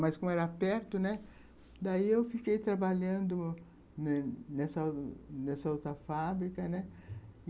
Mas, como era perto, né, daí eu fiquei trabalhando nessa outra fábrica, né